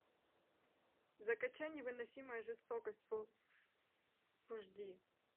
закачай невыносимая жестокость фул аш ди